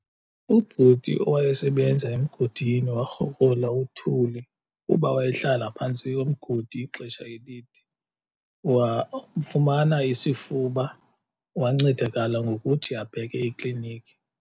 Ubhuti owayesebenza emgodini warhogola uthuli kuba wayehlala phantsi komgodi ixesha elide wafumana isifuba. Wancedakala ngokuthi abheke eklinikhi.